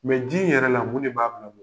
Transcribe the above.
Mɛ ji in yɛrɛ la mun de b'a